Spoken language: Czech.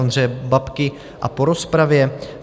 Ondřeje Babky a po rozpravě